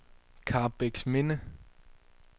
Karrebæksminde